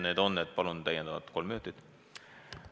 Palun täiendavalt kolm minutit!